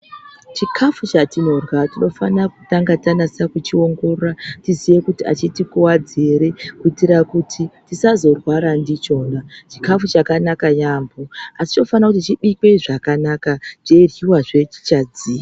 Chikafu chatinorya, tinofana kutange tanyatsakuchiongorora tiziye kuti achitikuwadzi ere kuitira kuti tisazorwara ndichona. Chikafu chakanaka yaamho, asi chinofanire kuti chibikwe zvakanaka, cheiryiwazve chichadziya.